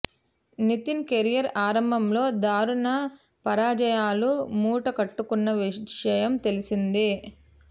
Nitin career ఆరంభంలో దారుణ పరాజయాలు మూట కట్టుకున్న విషయం తెల్సిందే